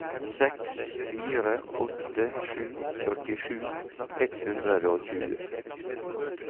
seks fire åtte sju førtisju ett hundre og tjue